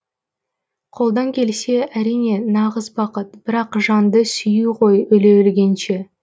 қолдан келсе әрине нағыз бақыт бір ақ жанды сүю ғой өле өлгенше